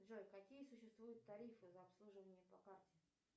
джой какие существуют тарифы за обслуживание по карте